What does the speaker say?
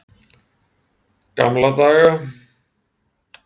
Gamla daga.